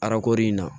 Arako in na